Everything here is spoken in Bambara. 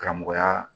Karamɔgɔya